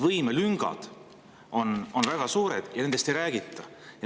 Võimelüngad on väga suured, aga nendest ei räägita.